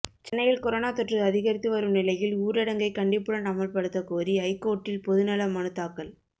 சென்னையில் கொரோனா தொற்று அதிகரித்து வரும் நிலையில் ஊரடங்கை கண்டிப்புடன் அமல்படுத்த கோரி ஐகோர்ட்டில் பொதுநல மனு தாக்கல்